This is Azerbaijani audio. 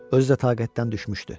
Özü də taqətdən düşmüşdü.